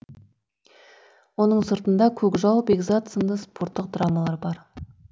оның сыртында көкжал бекзат сынды спорттық драмалар бар